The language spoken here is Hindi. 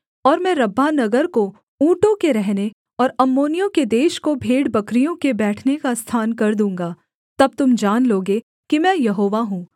और मैं रब्बाह नगर को ऊँटों के रहने और अम्मोनियों के देश को भेड़बकरियों के बैठने का स्थान कर दूँगा तब तुम जान लोगे कि मैं यहोवा हूँ